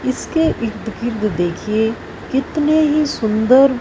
इसके इर्द गिर्द देखिए कितने ही सुंदर--